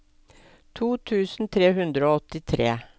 to tusen tre hundre og åttitre